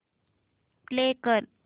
play कर